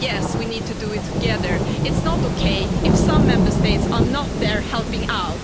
Yes, we need to do it together. It's not OK if some Member States are not there helping out.